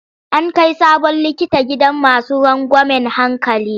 An kai sabon likita gidan masu rangwamen hankali.